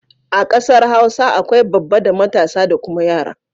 A kasar Hausa akwai babba da matasa da kuma yara.